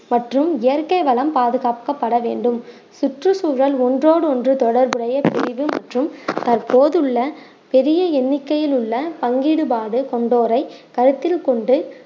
மற்றும் இயற்கை வளம் பாதுகாக்கப்பட வேண்டும் சுற்றுச்சூழல் ஒண்றோடு ஒண்று தொடர்புடைய பிரிவு மற்றும் தற்போதுள்ள பெரிய எண்ணிக்கையில் உள்ள பங்கீடு கொண்டோரை கருத்தில் கொண்டு